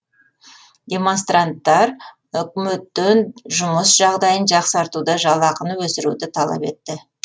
демонстранттар үкіметтен жұмыс жағдайын жақсартуды жалақыны өсіруді талап етті